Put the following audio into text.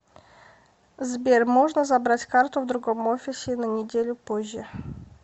сбер можно забрать карту в другом офисе и на неделю позже